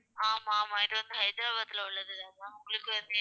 ஆமா ஆமா இது வந்து ஹைதராபாத்ல உள்ளது தான் ma'am உங்களுக்கு வந்து